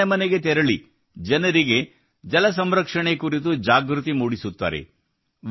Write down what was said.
ಇವರು ಮನೆ ಮನೆಗೆ ತೆರಳಿ ಜನರಿಗೆ ಜಲ ಸಂರಕ್ಷಣೆ ಕುರಿತು ಜಾಗೃತಿ ಮೂಡಿಸುತ್ತಾರೆ